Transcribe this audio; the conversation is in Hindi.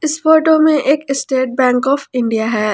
इस फोटो में एक स्टेट बैंक ऑफ इंडिया है।